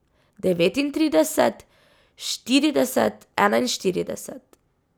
Devetintrideset, štirideset, enainštirideset.